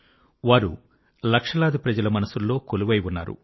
వారు లక్షలాది ప్రజల మనసుల్లో కొలువై ఉన్నారు